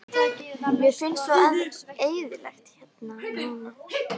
Mér finnst svo eyðilegt hérna núna.